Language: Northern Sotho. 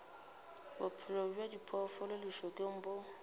bophelo bja diphoofolo lešokeng bo